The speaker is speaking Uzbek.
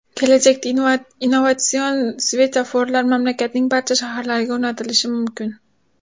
Kelajakda innovatsion svetoforlar mamlakatning barcha shaharlariga o‘rnatilishi mumkin.